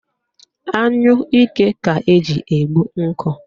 Anyụike ka eji egbu nkụ